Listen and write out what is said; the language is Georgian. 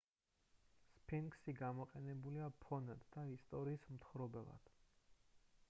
სფინქსი გამოყენებულია ფონად და ისტორიის მთხრობელად